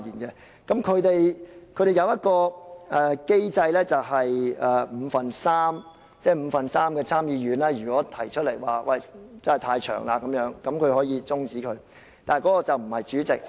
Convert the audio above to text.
他們並設有一個機制，只要五分之三的參議員認為時間過長，便可以中止，但決定的並不是主席。